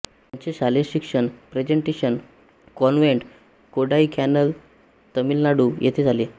त्यांचे शालेय शिक्षण प्रेझेंटेशन कॉन्व्हेंट कोडाईकॅनलतामिळनाडू येथे झाले